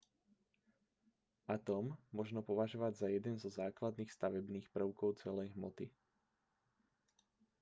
atóm možno považovať za jeden zo základných stavebných prvkov celej hmoty